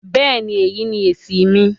Bẹ́ẹ̀ni, èyí ni èṣì mi